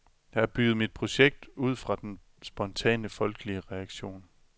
Jeg har bygget mit projekt ud fra den spontane, folkelige reaktion .